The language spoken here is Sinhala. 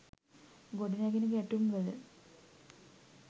ගොඩනැගෙන ගැටුම් වල